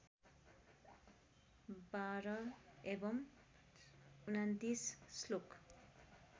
१२ एवं २९ श्लोक